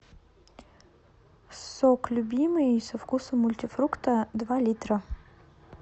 сок любимый со вкусом мультифрукта два литра